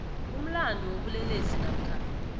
umlandu wobulelesi namkha